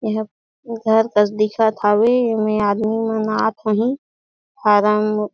एहा घर कस दिखत हवे एमे आदमी मन आत होहीं फारम--